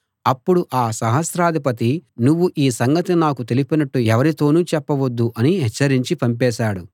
అప్పుడు ఆ సహస్రాధిపతి నువ్వు ఈ సంగతి నాకు తెలిపినట్టు ఎవరితోనూ చెప్పవద్దు అని హెచ్చరించి పంపేశాడు